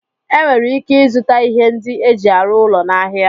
Enwere ike ịzụta ihe ndị eji arụ ụlọ n'ahịa